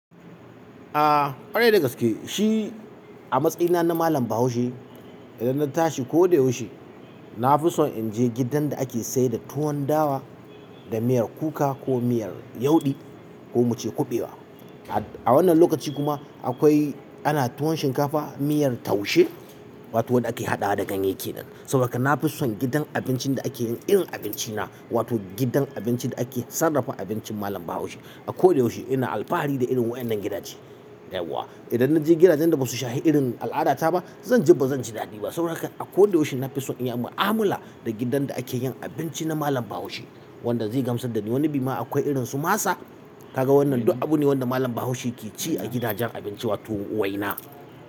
A ƙwarai dagaske shi a matsayina na Malam Bahaushe idan na tashi ko da yaushe na fi son in je gidan da ake sayar da tuwon dawa da miyar kuka ko miyar yawɗi ko mu ce kuɓewa. A wannan lokaci kuma akwai ana tuwon shinkafa miyar taushe wato waɗanda ake haɗa da ganye ke nan. Saboda haka na fi son gidan abincin da ake yin irin abinci na wato gidan abincin da ake sarrafa abincin malam bahaushe. A ko da yaushe ina alfahari da irin wannan gidaje. Yau wa idan na je gidajen da basu shahi irin al'adata ba zan ji ba zan ji daɗi ba. Saboda haka a ko da yaushe na fi son in yi mu'amala da gidan da ake yin abinci na malam bahaushe wanda zai gamsar da ni wani bi ma akwai irin su masa kaga wannan duk abu ne wanda malam bahaushe ke ci a gidajen abinci wato waina.